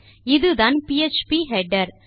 இதுதான் PHP header